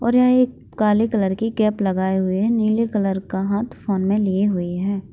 और यहाँ एक काले कलर की कैप लगे हुए नीले कलर का हाथ में फ़ोन लिए हुए हैं।